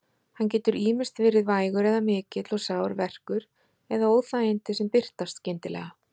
Hann getur ýmist verið vægur eða mikill og sár verkur eða óþægindi sem birtast skyndilega.